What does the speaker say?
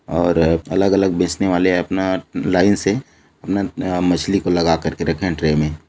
और अ अलग-अलग बेचने वाले अपना लाईन से अपना अ मछली को लगाकर रखे है ट्रे मे--